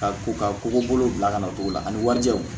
Ka ko ka koko bolo bila ka na to la ani warijɛw